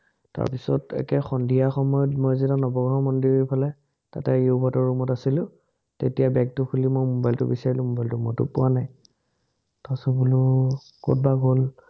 তাৰপিচত একে সন্ধিয়া সময়ত মই যেতিয়া নৱগ্ৰহ মন্দিৰৰফালে তাতে য়ুবহঁতৰ ৰুমত আছিলো, তেতিয়া বেগটো খুলি মোৰ মোবাইলটো বিচাৰিলো, মোবাইলটো মইতো পোৱা নায়। তাৰপাচত বোলো, কতবা গল।